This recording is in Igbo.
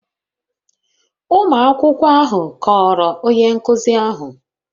Ụmụ akwụkwọ ahụ kọọrọ onye nkụzi ahụ